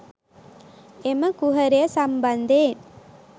එම කුහරය සම්බන්ධයෙන්